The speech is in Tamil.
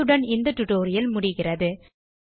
இத்துடன் இந்த டியூட்டோரியல் முடிகிறது